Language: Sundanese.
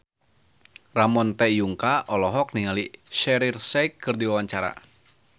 Ramon T. Yungka olohok ningali Shaheer Sheikh keur diwawancara